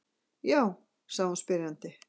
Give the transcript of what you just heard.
Já? sagði hún spyrjandi.